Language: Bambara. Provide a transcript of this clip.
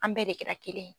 An bɛɛ de kɛra kelen ye